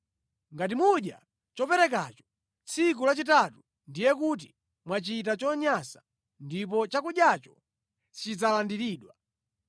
Ngati mudya choperekacho tsiku lachitatu, ndiye kuti mwachita chonyansa ndipo chakudyacho sichidzalandiridwa.